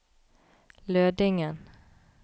Lødingen